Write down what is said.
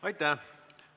Aitäh!